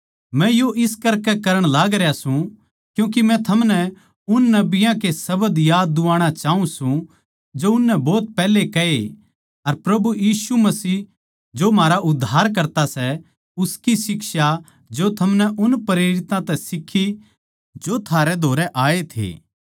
मै यो इस करकै करण लागरया सूं क्यूँके मै थमनै उन नबियाँ के शब्द याद दुवाणा चाऊँ सूं जो उननै भोत पैहले कहे अर प्रभु यीशु मसीह जो म्हारा उद्धारकर्ता सै उसकी शिक्षा जो थमनै उन प्रेरितां तै सीखी जो थारे धोरै आए थे